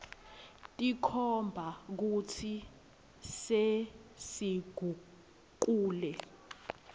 tikhomba kutsi sesigucule